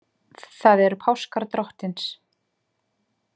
Það eru páskar Drottins.